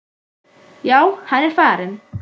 Já, hann er farinn